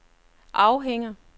afhænger